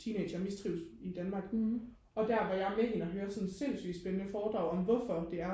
teenagere mistrives i Danmark og der var jeg er med hende og høre sådan et sindssygt spændende foredrag om hvorfor det er